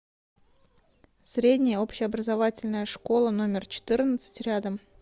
средняя общеобразовательная школа номер четырнадцать рядом